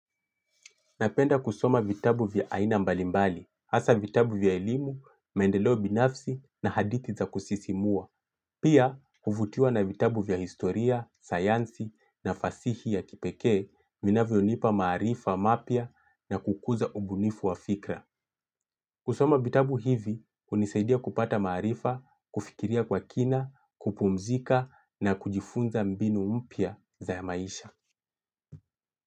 Napenda kusoma vitabu vya aina mbalimbali, hasa vitabu vya elimu, maendeleo binafsi na hadithi za kusisimua. Pia, kuvutiwa na vitabu vya historia, sayansi na fasihi ya kipekee, vinavyonipa maarifa, mapya na kukuza ubunifu wa fikra. Kusoma vitabu hivi, hunisaidia kupata maarifa, kufikiria kwa kina, kupumzika na kujifunza mbinu mpya za maisha.